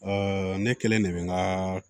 ne kelen de bɛ n ka